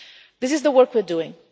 This is the work we are